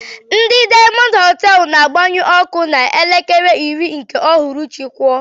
Ndị diamond hotelú na-agbanyu ọkụ na elekere iri nke ụhụrụchi kụọ.